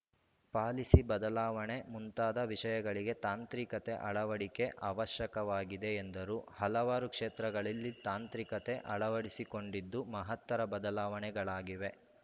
policy ಬದಲಾವಣೆ ಮುಂತಾದ ವಿಷಯಗಳಿಗೆ ತಾಂತ್ರಿಕತೆ ಅಳವಡಿಕೆ ಅವಶ್ಯಕವಾಗಿದೆ ಎಂದರು ಹಲವಾರು ಕ್ಷೇತ್ರಗಳಲ್ಲಿ ತಾಂತ್ರಿಕತೆ ಅಳವಡಿಸಿಕೊಂಡಿದ್ದು ಮಹತ್ತರ ಬದಲಾವಣೆಗಳಾಗಿವೆ